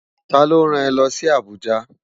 Ta ló rán è lòsi Abuja?